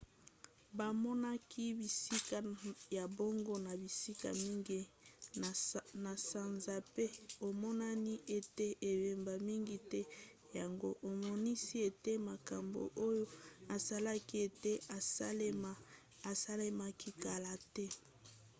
bamonaki bisika ya bongo na bisika mingi na sanza pe emonani ete ebeba mingi te yango emonisi ete makambo oyo esalaki ete esalema esalemaki kala te